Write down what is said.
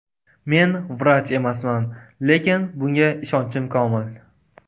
Men vrach emasman, lekin bunga ishonchim komil.